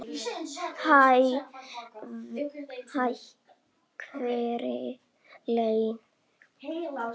Hæ, hvernig líður þér?